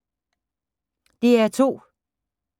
DR2